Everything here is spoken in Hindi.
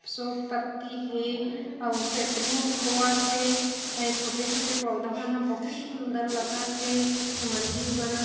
शो पत्ती हे अउ सेटरिंग होवत हे अउ ए छोटे-छोटे पौधा मन ह बहुत सुंदर लगत हे ए मंदिर बनत --